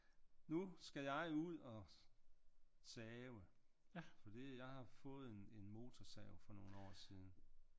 Nu skal jeg ud og save fordi jeg har fået en motorsav for nogle år siden